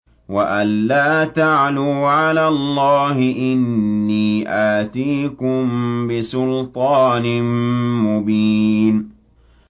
وَأَن لَّا تَعْلُوا عَلَى اللَّهِ ۖ إِنِّي آتِيكُم بِسُلْطَانٍ مُّبِينٍ